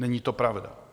Není to pravda!